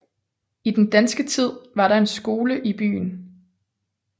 I den danske tid var der en skole i byen